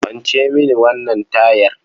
Kwance mini wannan tayar.